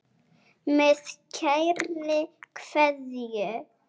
Með kærri kveðju.